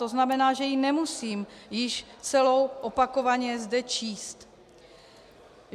To znamená, že ji nemusím již celou opakovaně zde číst.